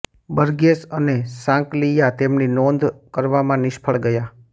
Burgess અને સાંકલિયા તેમની નોંધ કરવામાં નિષ્ફળ ગયા